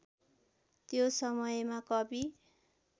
त्यो समयमा कवि